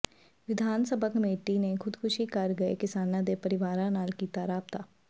ਵਿਧਾਨ ਸਭਾ ਕਮੇਟੀ ਨੇ ਖ਼ੁਦਕੁਸ਼ੀ ਕਰ ਗਏ ਕਿਸਾਨਾਂ ਦੇ ਪਰਿਵਾਰਾਂ ਨਾਲ ਕੀਤਾ ਰਾਬਤਾ